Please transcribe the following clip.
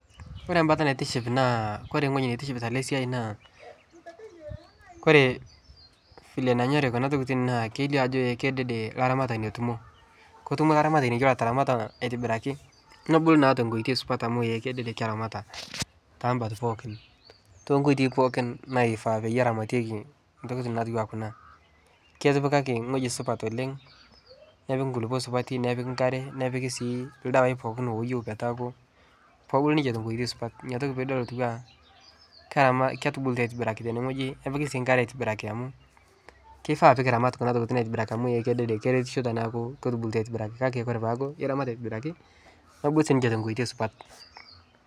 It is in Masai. Ore embate naa naitiship ore entoki naitiship Tena siai ore vile nanyorie Kuna tokitin kelio ake Ajo kedede eno oloramatani otaramata aitobiraki neramat naa tenkoitoi supat too nkoitoi pookin naifaa pee neramatieki ntokitin napiki etipikaki ewueji sidai oleng nepiki enkare nepiki ildawai pookin looyueu pee ebulu ninche tenkoitoi supat edol Ajo ketubulutua ninche aitobiraki tenewueji nepiki enkare aitobiraki kifaa pee kiramat Kuna tokitin aitobiraki amu eretisho teneku etubulutua kake teneku eramat aitobiraki nebulu siniche tenkoitoi supat